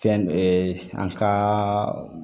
Fɛn dɔ an ka